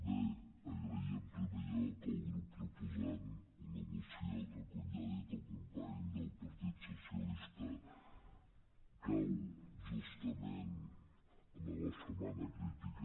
bé agrair en primer lloc al grup proposant una moció que com ja ha dit el company del partit socialista cau justament en la setmana crítica